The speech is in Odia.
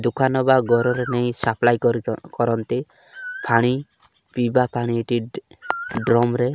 ଦୋକାନ ବା ଘରର ନେଇ ସପ୍ଲାଇ କରି କରନ୍ତି ପାଣି ସପ୍ଲାଏ କରନ୍ତି ପାଣି ପିଇବା ପାଣି ଏଠି ଡ୍ରମ ରେ --